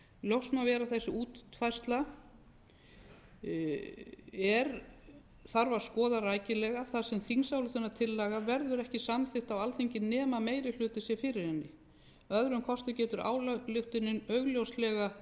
ljóst má vera að þessa útfærslu þarf að skoða rækilega þar sem þingsályktunartillaga verður ekki samþykkt á alþingi nema meiri hluti sé fyrir henni að öðrum kosti getur ályktunin augljóslega